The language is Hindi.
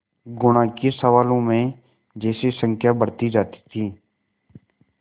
गुणा के सवालों में जैसे संख्या बढ़ती जाती थी